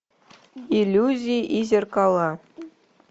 иллюзии и зеркала